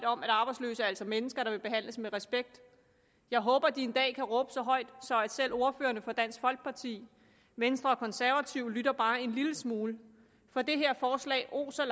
om at arbejdsløse altså er mennesker der vil behandles med respekt jeg håber de en dag kan råbe så højt at selv ordførerne for dansk folkeparti venstre og konservative lytter bare en lille smule for det her forslag oser